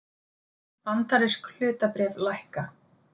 Bandarísk hlutabréf lækka